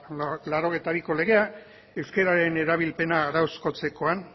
eta laurogeita biko legea euskararen erabilpena arauzkotzekoan